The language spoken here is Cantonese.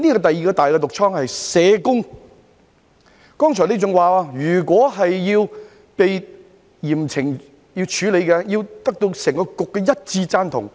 第二個"大毒瘡"是社工，局長剛才還說，如果要被嚴懲處理，須獲得整個局的一致贊同。